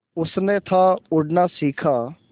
उसने था उड़ना सिखा